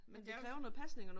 Men der er jo